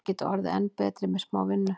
Þeir geta orðið enn betri með smá vinnu.